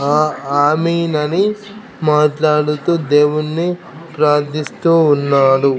ఆ ఆమీన్ అని మాట్లాడుతూ దేవుడిని ప్రార్థిస్తూ ఉన్నాడు.